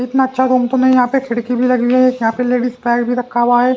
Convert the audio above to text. इतना अच्छा रूम तो नहीं यहां पे खिड़की भी लगी हुई है यहां पे लेडीज बैग भी रखा हुआ है।